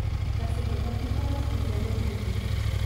Kar se tega tiče, smo zelo pridni.